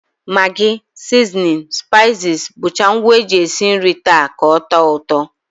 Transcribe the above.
Magi, sizinin, spaiziz bụcha ngwa e jizi esi nri taa ka ọ tọọ ụtọ